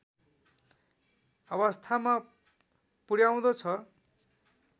अवस्थामा पुर्‍याउँदछ